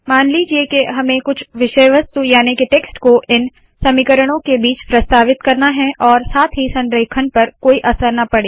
मान लीजिए के हमें कुछ विषय वस्तु याने के टेक्स्ट को इन समीकरणों के बीच प्रस्तावित करना है और साथ ही संरेखण पर कोई असर ना पड़े